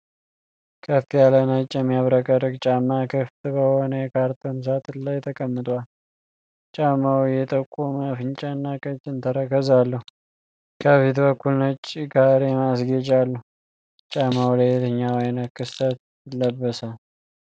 ከፍ ያለ ነጭ የሚያብረቀርቅ ጫማ ክፍት በሆነ የካርቶን ሣጥን ላይ ተቀምጧል። ጫማው የጠቆመ አፍንጫና ቀጭን ተረከዝ አለው፤ ከፊት በኩል ነጭ ካሬ ማስጌጫ አለው። ጫማው ለየትኛው ዓይነት ክስተት ይለበሳል?